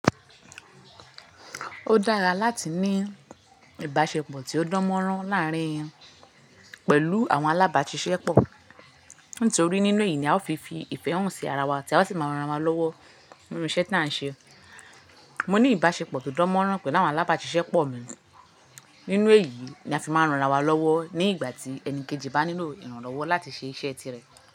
Ó dára láti ní ìbáṣepọ̀ tí ó dán mọ́rán láàárín wọn pẹ̀lú àwọn alábàáṣiṣẹ́ pọ̀. Nítorí nínú èyí ni a ó fi fi ìfẹ́ hàn sí ara wa tí a sì máa ran ara wa lọ́wọ́ nínú iṣẹ́ tí à ń ṣe. Mo ní ìbáṣepọ̀ tó dán mọ́rán pẹ̀lú àwọn alábàáṣiṣẹ́ pọ̀ mi. Nínú èyí ni a fi máa ń ran ara wa lọ́wọ́ ní ìgbà tí ẹni kejì bá nílò ìrànlọ́wọ́ láti ṣe iṣẹ́ tirẹ̀.